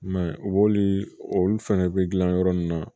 I m'a ye u b'olu olu fɛnɛ bɛ gilan yɔrɔ min na